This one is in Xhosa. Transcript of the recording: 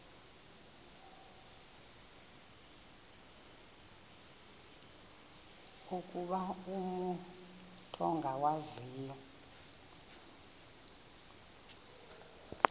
ukuba umut ongawazivo